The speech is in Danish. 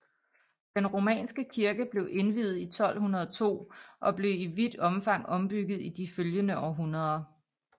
Den romanske kirke blev indviet i 1202 og blev i vidt omfang ombygget i de følgende århundreder